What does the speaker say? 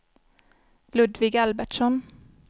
Ludvig Albertsson